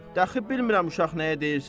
Dəxi bilmirəm uşaq nəyə deyirsən.